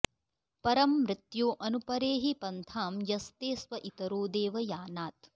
परं मृत्यो अनुपरेहि पन्थां यस्ते स्व इतरो देवयानात्